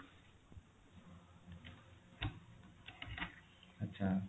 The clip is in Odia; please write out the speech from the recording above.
ଆଚ୍ଛା